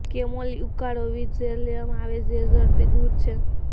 chamomile ઉકાળો વિવિધ ઝેર લેવામાં આવે ઝેર ઝડપી દૂર છે